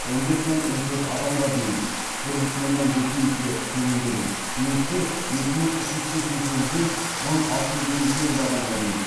он бес мың он төрт адамға дейін немістер екі мың үш жүз сексен сегізден мың алты жүз елу сегіз адамға дейін